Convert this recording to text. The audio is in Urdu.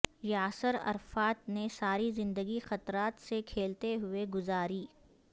یاسر عرفات نے ساری زندگی خطرات سے کھیلتے ہوئے گزاری